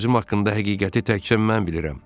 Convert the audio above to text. Nazim haqqında həqiqəti təkcə mən bilirəm.